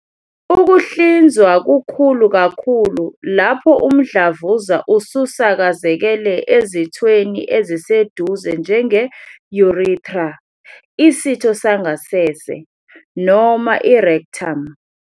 Ukuhlinzwa kukhulu kakhulu lapho umdlavuza ususakazekele ezithweni eziseduze njenge-urethra, isitho sangasese, noma i-rectum.